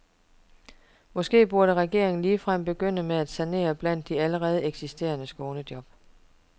Måske burde regeringen ligefrem begynde med at sanere blandt de allerede eksisterende skånejob.